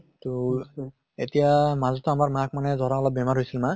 তʼএতিয়া মাজতে আমাৰ মাক মানে ধৰা অলপ বেমাৰ হৈছিল মা